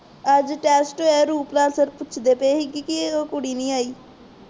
ਅੱਜ test ਹੋਇਆ Ruplal sir ਪੁੱਛਦੇ ਪਏ ਸੀ ਉਹ ਕੁੜੀ ਨਹੀਂ ਆਈ